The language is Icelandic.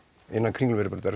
innan Kringlumýrarbrautar